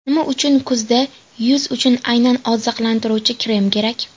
Nima uchun kuzda yuz uchun aynan oziqlantiruvchi krem kerak?